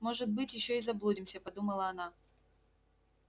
может быть ещё и заблудимся подумала она